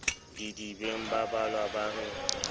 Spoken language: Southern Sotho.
didibeng babalang ba re le